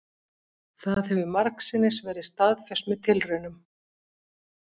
Það hefur margsinnis verið staðfest með tilraunum,